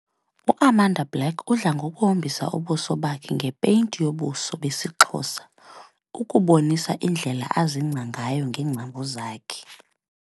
UAmanda Black udla ngokuhombisa ubuso bakhe ngepeyinti yobuso be of Xhosa ukubonisa indlela azingca ngayo ngeengcambu zakhe.